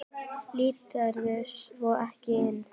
Líturðu svo ekki inn?